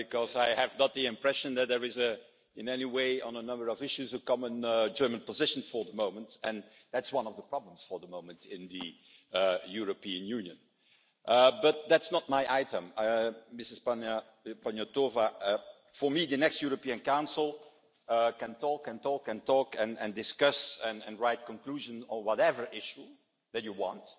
I have not the impression that there is in any way, on a number of issues a common German position for the moment and that is one of the problems for the moment in the European Union, but that is not my item. Ms Panayotova, the next European Council can talk and talk and talk and discuss and write conclusions on whatever issue that you want,